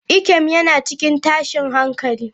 Ikem yana cikin tashin hankali.